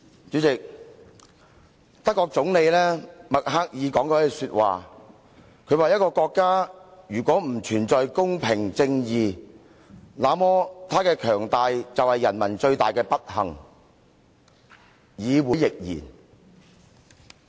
主席，德國總理默克爾曾經說過一句話，她說一個國家如果不存在公平、正義，那麼她的強大便是人民最大的不幸，議會亦然。